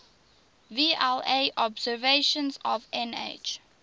vla observations of nh